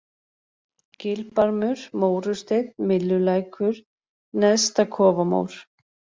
Gilbarmur, Mórusteinn, Myllulækur, Neðstakofamór